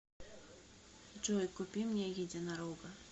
джой купи мне единорога